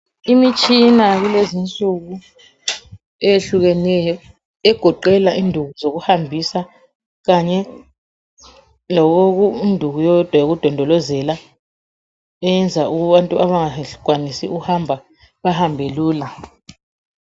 Imitshina yakulezi insuku eyehlukeneyo egoqela induku zokuhambisa kanye lenduku eyodwa yokudondolozela eyenza abantu abangakwanisi ukuungakwanisi ukuhamba bahambe lula.